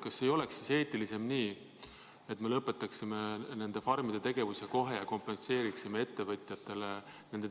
Kas ei oleks eetilisem, et me lõpetaksime nende farmide tegevuse kohe ja kompenseeriksime ettevõtjatele nende